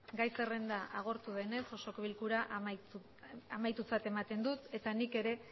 gai zerrenda agortu denez osoko bilkura amaitutzat ematen dut eta nik ere